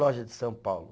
loja de São Paulo